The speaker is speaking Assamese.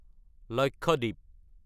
লক্ষদ্বীপ